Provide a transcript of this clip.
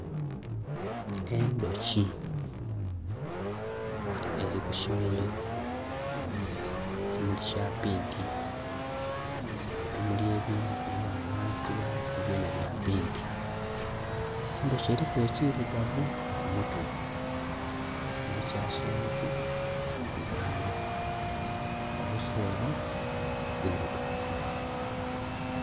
Endhuki eri ku kimuli ekimuli kya pinka, ebimuli ebindhi bili ghanho ghansi ghansi byona bya pinka. Endhuki eriku ekirugavu ku mutwe nhe kya kyenvu kwibango obuswere bwirugavu.